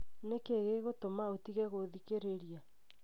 nĩ kĩĩ gĩgũtũma ũtige gũthikĩrĩria?